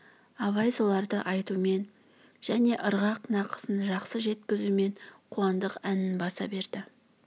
абай соларды айтумен және ырғақ нақысын жақсы жеткізумен қуандық әнін баса берді